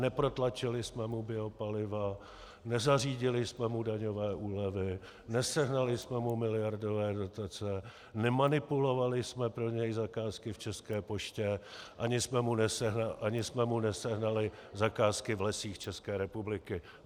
Neprotlačili jsme mu biopaliva, nezařídili jsme mu daňové úlevy, nesehnali jsme mu miliardové dotace, nemanipulovali jsme pro něj zakázky v České poště ani jsme mu nesehnali zakázky v Lesích České republiky.